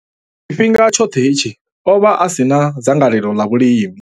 Tshifhinga tshoṱhe hetshi, o vha a si na dzangalelo ḽa vhulimi.